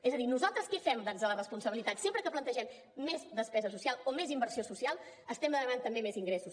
és a dir nosaltres què fem des de la responsabilitat sempre que plantegem més despesa social o més inversió social estem demanant també més ingressos